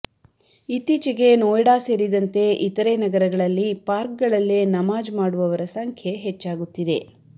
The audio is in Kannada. ಇತ್ತೀಚೆಗೆ ನೋಯ್ಡಾ ಸೇರಿದಂತೆ ಇತರೆ ನಗರಗಳಲ್ಲಿ ಪಾರ್ಕ್ ಗಳಲ್ಲೆ ನಮಾಜ್ ಮಾಡುವವರ ಸಂಖ್ಯೆ ಹೆಚ್ಚಾಗುತ್ತಿದೆ